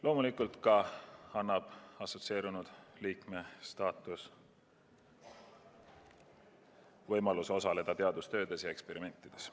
Loomulikult annab assotsieerunud liikme staatus ka võimaluse osaleda teadustöödes ja eksperimentides.